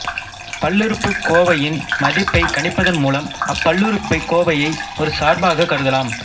பல்லுறுப்புக்கோவையின் மதிப்பைக் கணிப்பதன் மூலம் அப்பல்லுறுப்புக்கோவையை ஒரு சார்பாகக் கருதலாம்